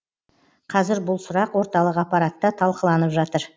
қазір бұл сұрақ орталық аппаратта талқыланып жатыр